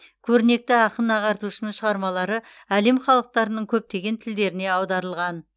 көрнекті ақын ағартушының шығармалары әлем халықтарының көптеген тілдеріне аударылған